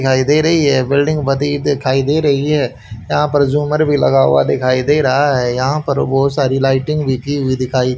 दिखाई दे रही है बिल्डिंग बदी दिखाई दे रही है यहां पर झूमर भी लगा हुआ दिखाइ दे रहा है यहां पर बहोत सारी लाइटिंग भी की हुई दिखाई --